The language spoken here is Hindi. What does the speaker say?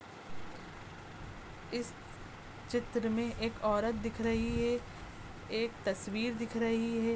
इस चित्र में एक औरत दिख रही है एक तस्वीर दिख रही है।